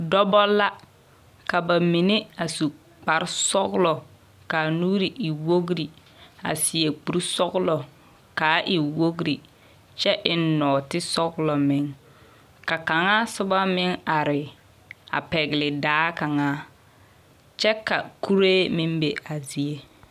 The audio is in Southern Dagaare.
Dͻbͻ la, ka ba mine a su kpare sͻgelͻ ka a nuuri e wogiri a seԑ kuri sͻgelͻ ka a e wogiri kyԑ e nͻͻte sͻgelͻ meŋ. Ka kaŋa soba meŋ are a pԑgele daa kaŋa, kyԑ ka kuree meŋ be a zie.